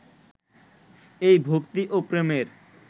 এই ভক্তি ও প্রেমের